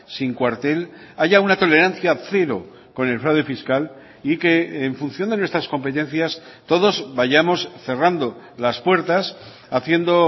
sin cuartel haya una tolerancia cero con el fraude fiscal y que en función de nuestras competencias todos vayamos cerrando las puertas haciendo